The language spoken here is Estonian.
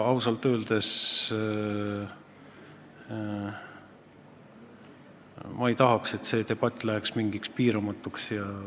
Ausalt öeldes ma ei taha, et see debatt läheks piiramatuks.